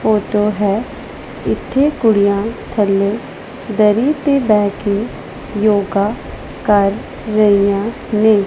ਉਹ ਤੋ ਹੈ ਇੱਥੇ ਕੁੜੀਆਂ ਥੱਲੇ ਦਰੀ ਤੇ ਬਹਿ ਕੇ ਯੋਗਾ ਕਰ ਰਹੀਆਂ ਨੇ।